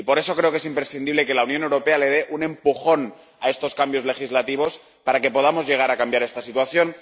Y por eso creo que es imprescindible que la Unión Europea le dé un empujón a estos cambios legislativos para que podamos llegar a cambiar esta situación.